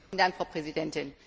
Frau Präsidentin!